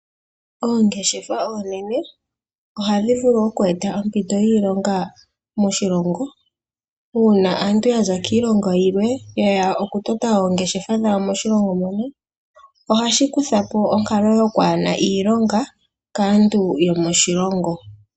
Oongeshefa oonene ohadhi vulu oku eta oompito dhiilonga moshilongo, una aantu ya za kiilongo yilwe yeya oku tota oongeshefa dhawo moshilongo mono, ohashi kuthako onkalo yokwaana iilonga kaantu yomoshilongo.